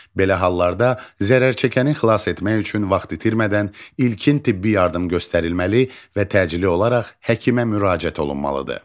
Belə hallarda zərərçəkəni xilas etmək üçün vaxt itirmədən ilkin tibbi yardım göstərilməli və təcili olaraq həkimə müraciət olunmalıdır.